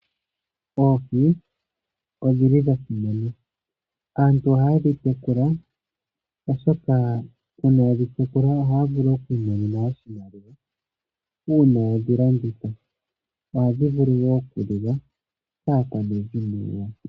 Oohi odhili dha simana oshoka aantu ohaya vulu okudhi tekula oshoka uuna yedhi tekula ohaya vulu okwiimonena oshimaliwa uuna yedhi landitha ohadhi vulu wo okuliwa kaakwanezimo lyawo.